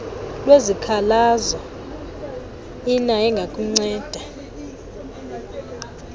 lwezikhalazo iner engakunceda